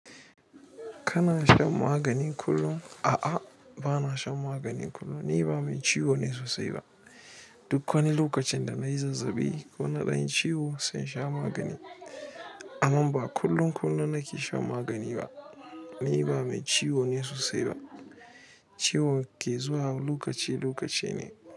Kana shan magani kullum? A'a, ba na shan magani kullum. Ni ba mai ciwo ne sosai ba. Duk wani lokacin da nayi zazzaɓi ko na ɗan yi ciwo, sai nasha magani amma ba kullum kullum na ke shan magani ba. Ni ba mai ciwo ne sosai ba. Ciwo ke zuwa lokaci lokaci ne.